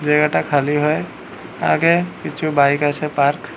জায়গাটা খালি হয়ে আগে কিছু বাইক আছে পার্ক ।